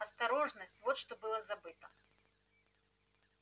осторожность вот что было забыто